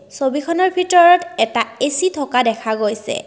ছবিখনৰ ভিতৰত এটা এ_চি থকা দেখা গৈছে।